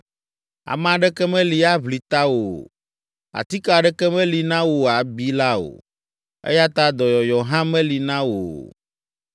Ame aɖeke meli aʋli tawò o, atike aɖeke meli na wò abi la o, eya ta dɔyɔyɔ hã meli na wò o.